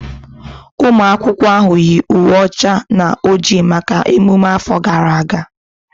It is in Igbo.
Ụmụ akwụkwọ ahụ yi uwe ọcha na oji maka emume afọ gara aga